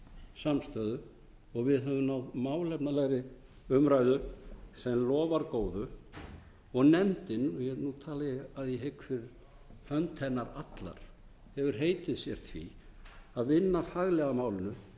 samstöðu og við höfum náð málefnalegri umræðu sem lofar góðu nefndin nú tala ég að ég hygg fyrir hönd hennar allrar hefur heitið sér því að vinna faglega að málinu